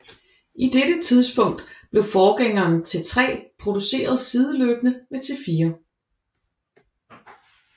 I dette tidspunkt blev forgængeren T3 produceret sideløbende med T4